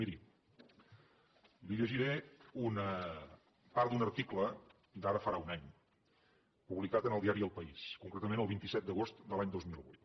miri li llegiré part d’un article d’ara farà un any publicat en el diari el país concretament el vint set d’agost de l’any dos mil vuit